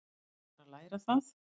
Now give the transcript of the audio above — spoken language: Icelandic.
Þá er bara að læra það!